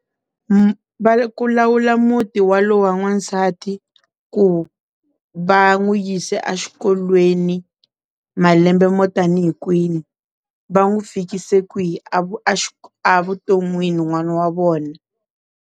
Ku lawula muti wa lowa n'wansati ku va n'wi yisa exikolweni malembe mo tanihi kwini va n'wi fikisa kwihi a a vuton'wini n'wana wa vona.